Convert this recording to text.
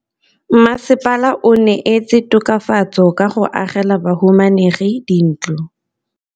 Mmasepala o neetse tokafatsô ka go agela bahumanegi dintlo.